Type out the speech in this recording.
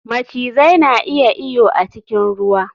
Macizai na iya iyo a cikin ruwa